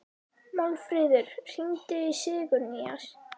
Málfríður, hringdu í Sigurnýjas.